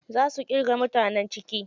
Za su irga mutanen ciki.